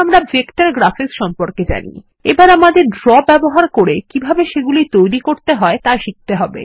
এখন আমরা vector graphics সম্পর্কে জানি এখন আমাদের ড্র ব্যবহার করে কিভাবে সেগুলি তৈরি করতে হয় শিখতে হবে